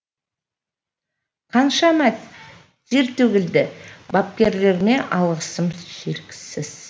қаншама тер төгілді бапкерлеріме алғысым шексіз